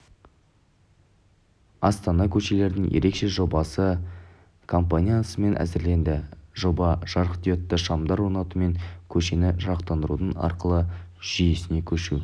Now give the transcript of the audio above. астана көшелерінің ерекше жобасы компаниясымен әзірленді жоба жарықдиодты шамдар орнату мен көшені жарықтандырудың ақылды жүйесіне көшу